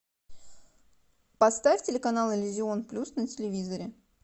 поставь телеканал иллюзион плюс на телевизоре